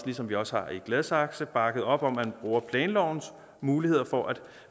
ligesom vi også har i gladsaxe bakket op om at man bruger planlovens muligheder for at